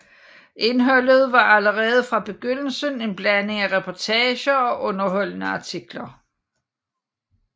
Indholdet var allerede fra begyndelsen en blanding af reportager og underholdende artikler